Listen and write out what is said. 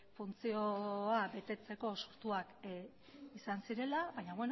funtzioa betetzeko sortuak izan zirela baina